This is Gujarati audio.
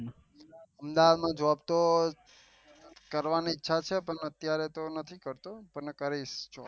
અમદાવાદ માં જોબ તો કરવાનું ઈચ્છા છે પણ અત્યારે કઈ નથી થતું એનું કઈ